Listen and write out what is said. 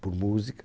por música.